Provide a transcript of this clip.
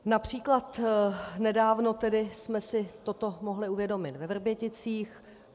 Například tedy nedávno jsme si toto mohli uvědomit ve Vrběticích.